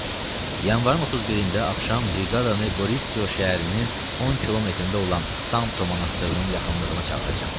Yanvarın 31-də axşam briqadanı Qoritso şəhərinin 10 kilometrində olan Santo monastırının yaxınlığına çağıracam.